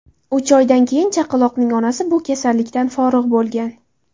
Uch oydan keyin chaqaloqning onasi bu kasallikdan forig‘ bo‘lgan.